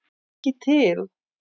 Ekki til!